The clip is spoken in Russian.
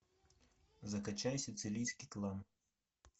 закачай сицилийский клан